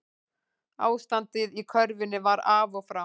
Ástandið í körfunni var af og frá